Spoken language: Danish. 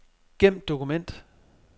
Gem dokument.